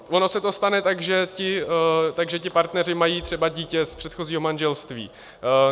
Ono se to stane tak, že ti partneři mají třeba dítě z předchozího manželství.